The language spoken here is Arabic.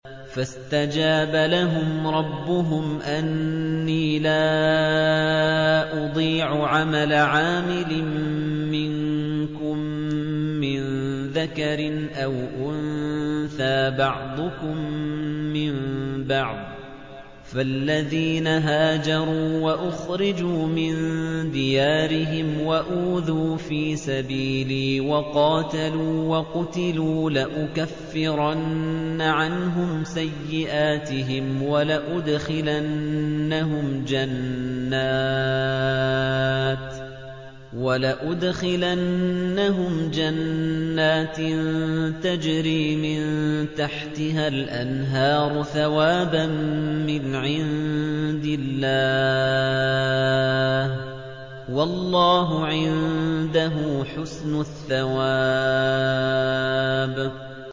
فَاسْتَجَابَ لَهُمْ رَبُّهُمْ أَنِّي لَا أُضِيعُ عَمَلَ عَامِلٍ مِّنكُم مِّن ذَكَرٍ أَوْ أُنثَىٰ ۖ بَعْضُكُم مِّن بَعْضٍ ۖ فَالَّذِينَ هَاجَرُوا وَأُخْرِجُوا مِن دِيَارِهِمْ وَأُوذُوا فِي سَبِيلِي وَقَاتَلُوا وَقُتِلُوا لَأُكَفِّرَنَّ عَنْهُمْ سَيِّئَاتِهِمْ وَلَأُدْخِلَنَّهُمْ جَنَّاتٍ تَجْرِي مِن تَحْتِهَا الْأَنْهَارُ ثَوَابًا مِّنْ عِندِ اللَّهِ ۗ وَاللَّهُ عِندَهُ حُسْنُ الثَّوَابِ